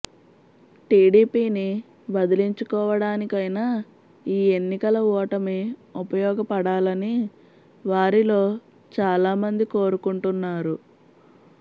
టిడిపిని వదిలించుకోవడానికైనా ఈ ఎన్నికల ఓటమి ఉపయోగపడాలని వారిలో చాలామంది కోరుకుంటున్నారు